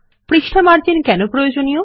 পৃষ্ঠা মার্জিন কেন প্রয়োজনীয়